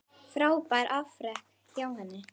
Frábært afrek hjá henni.